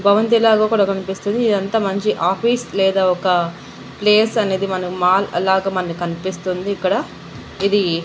భవంతి లాగా కూడా కనిపిస్తుంది ఇది అంత మంచి ఆఫీస్ లేదా ఒక ప్లేస్ అనేది మనం మాల్ అలాగా కనిపిస్తుంది ఇక్కడ ఇది.